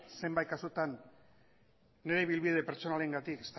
zenbait kasutan nire ibilbide pertsonalarengatik